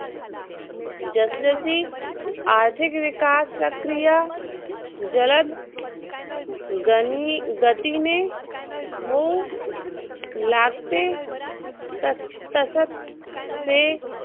जसजशी आर्थिक विकास प्रक्रिया जलद गनी गतीने होऊ लागते तस तस ते